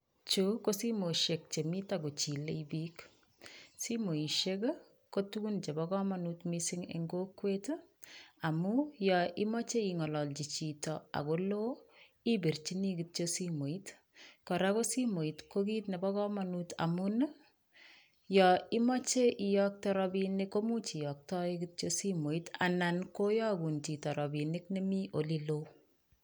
Chu ko simoisiek chemiten kochile biik simoisiek ko tugun chepo komonut missing en kokwet amun yoimoche ing'ololchi chito akoloo ipirchin kityok simoit kora ko simoit kokit nepo komonut amun yon imoche iyokte rapinik komuch iyoktoe kityo simoit anan koyokun chito rapinik nemi oleloo.